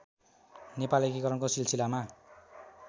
नेपाल एकीकरणको सिलसिलामा